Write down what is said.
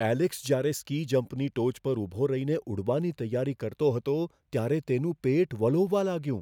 Alex જ્યારે ski જમ્પની ટોચ પર ઊભો રહીને ઉડવાની તૈયારી કરતો હતો, ત્યારે તેનું પેટ વલોવવા લાગ્યું.